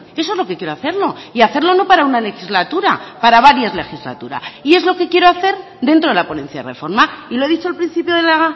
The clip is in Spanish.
eso es lo que quiero hacer y hacerlo no solo para una legislatura sino para varias legislaturas y es lo que quiero hacer dentro de la ponencia de la reforma y lo he dicho al principio de la